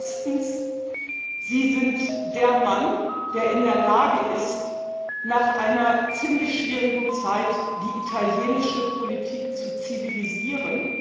Erstens Sie sind der Mann, der in der Lage ist, nach einer ziemlich schwierigen Zeit die italienische Politik zu zivilisieren.